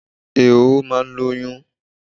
Ehoro máa ń lóyún.